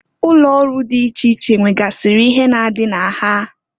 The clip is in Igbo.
Ụlọ ọrụ di iche iche nwegasịrị ihe na-adị na ha.